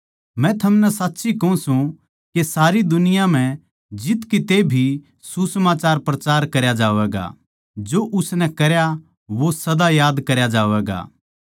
मै थमनै साच्ची कहूँ सूं के सारे जगत म्ह जित किते भी सुसमाचार प्रचार करया जावैगा जो उसनै करया वो सदा याद करया जावैगा